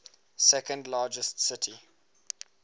second largest city